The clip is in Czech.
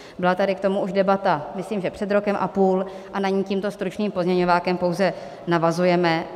Byla tady k tomu už debata, myslím, že před rokem a půl, a na ni tímto stručným pozměňovákem pouze navazujeme.